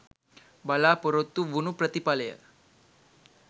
බලාපොරොත්තු වුණු ප්‍රතිඵලය